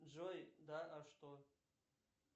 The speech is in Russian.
джой да а что